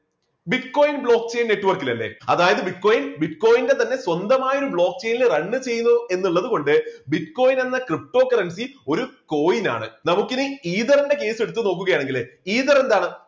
bitcoin block chain network ലല്ലേ അതായിത് bitcoin bitcoin ന്റെ തന്നെ സ്വന്തമായ ഒരു block chain ന്റെ run ചെയ്തു എന്നുള്ളത് കൊണ്ട് bitcoin എന്ന ptocurrency ഒരു coin ആണ്. നമുക്കിനി ether ന്റെ case എടുത്തു നോക്കുക ആണെങ്കില് ether എന്താണ്?